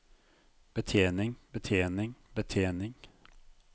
betjening betjening betjening